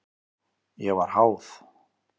Ég var háð.